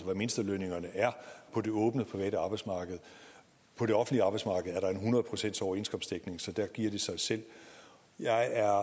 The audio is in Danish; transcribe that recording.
mindstelønningerne er på det åbne private arbejdsmarked på det offentlige arbejdsmarked er der en hundrede procentsoverenskomstdækning så der giver det sig selv jeg er